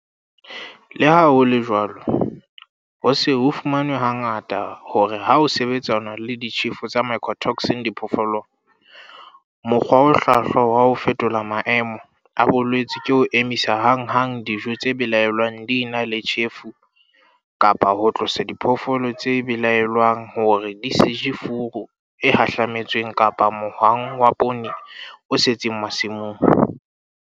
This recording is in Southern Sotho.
Le ha ho le jwalo, ho se ho fumanwe hangata hore ha ho sebetsanwa le ditjhefo tsa mycotoxin diphoofolong, mokgwa o hlwahlwa wa ho fetola maemo a bolwetse ke ho emisa hanghang dijo tse belaellwang di ena le tjhefo kapa ho tlosa diphoofolo tse belaellwang hore di se je furu e hahlametsweng kapa mohwang wa poone o setseng masimong.